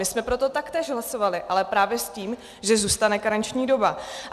My jsme proto taktéž hlasovali, ale právě s tím, že zůstane karenční doba.